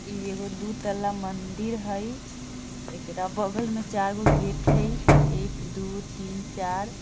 इ एगो दू तल्ला मंदिर हय एकरा बगल में चारगो गेट हय एक दू तीन चार।